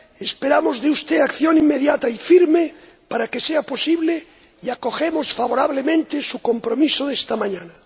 esperamos de usted acción inmediata y firme para que sea posible, y acogemos favorablemente su compromiso de esta mañana.